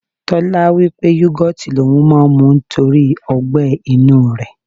Tọ́lání wí pé yogoti l'oun máa ń mu nítorí ọgbẹ inú rẹ̀.